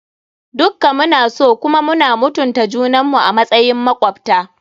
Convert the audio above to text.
Dukka mu na so kuma muna mutunta junan mu a matsayin makwabta.